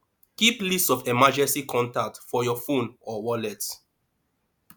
keep list of emergency contact for your phone or wallet